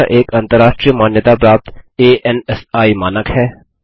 यह एक अंतर्राष्ट्रीय मान्यताप्राप्त अंसी मानक है